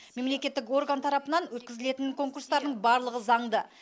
мемлекеттік орган тарапынан өткізілетін конкурстардың барлығы заңды